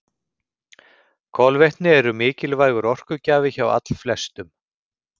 Kolvetni eru mikilvægur orkugjafi hjá allflestum.